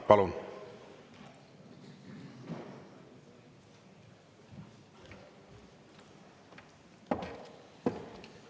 Palun!